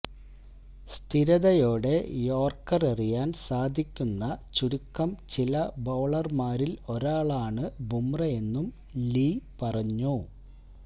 സ്ഥിരതയോടെ yorker എറിയാന് സാധിക്കുന്ന ചുരുക്കം ചില ബൌളര്മാരില് ഒരാളാണ് ബൂംറയെന്നും ലീ പറഞ്ഞു